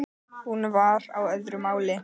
Hún var á öðru máli.